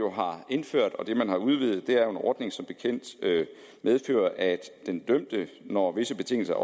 har indført og det man har udvidet er en ordning der som bekendt medfører at den dømte når visse betingelser